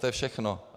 To je všechno.